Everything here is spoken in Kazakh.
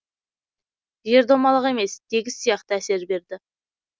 жер домалақ емес тегіс сияқты әсер берді